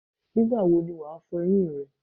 Nígbà wo ni wàá fo eyín rè?